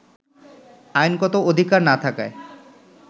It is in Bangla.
আইনগত অধিকার না থাকায়